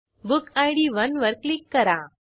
book id 1 वर click करा